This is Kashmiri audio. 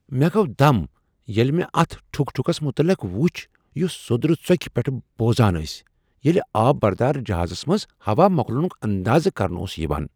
مےٚ گوٚو دم ییٚلہ مےٚ اتھ ٹھک ٹھکس متعلق وُچھ یس سوٚدرٕ ژکہ پیٹھٕ بوزان ٲسۍ ییٚلہ آب بردار جہازس منٛز ہوا مۄکلٕنُک اندازہ کرنہٕ اوس یوان۔